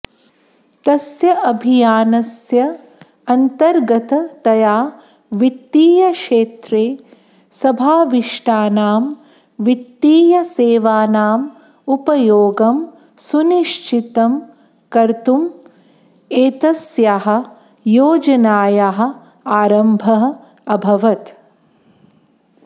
तस्याभियानस्य अन्तर्गततया वित्तीयक्षेत्रे समाविष्टानां वित्तीयसेवानाम् उपयोगं सुनिश्चितं कर्तुम् एतस्याः योजनायाः आरम्भः अभवत्